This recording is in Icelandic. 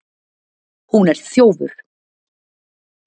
Hún er þjófur